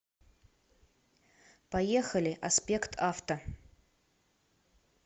поехали аспект авто